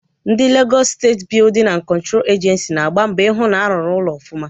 Ndi Legọs Steeti Bịudịn na Kọntro Ejensi na-agba mbọ ị hụ na-arụrụ ụlọ ọfụma.